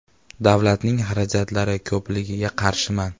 Davlatning xarajatlari ko‘pligiga qarshiman.